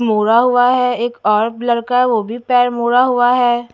मोड़ा हुआ है एक और लड़का है वो भी पैर मोड़ा हुआ है।